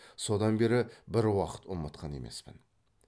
содан бері бір уақыт ұмытқан емеспін